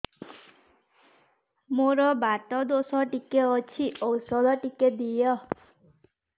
ମୋର୍ ବାତ ଦୋଷ ଟିକେ ଅଛି ଔଷଧ ଟିକେ ଦିଅ